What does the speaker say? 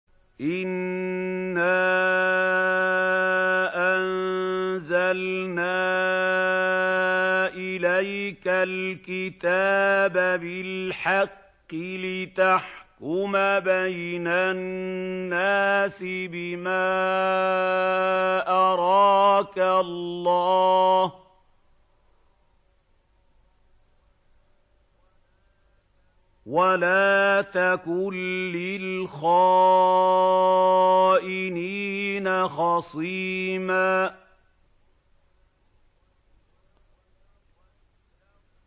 إِنَّا أَنزَلْنَا إِلَيْكَ الْكِتَابَ بِالْحَقِّ لِتَحْكُمَ بَيْنَ النَّاسِ بِمَا أَرَاكَ اللَّهُ ۚ وَلَا تَكُن لِّلْخَائِنِينَ خَصِيمًا